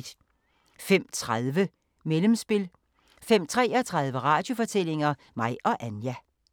05:30: Mellemspil 05:33: Radiofortællinger: Mig og Anja